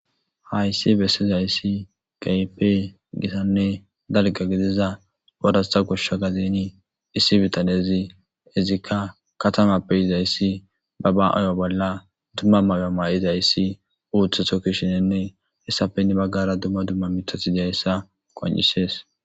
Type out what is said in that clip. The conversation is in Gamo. Hayssi bessiza issi keehippe gitanne gidiza addusa goshsha gadeni issi bitanezi izikka katamappe yiza issi ba ba mayo bolla dumma mayo mayiza issi uutheto kushinenne issappe hinni baggara dumma dumma mithati deya issa qoncisees.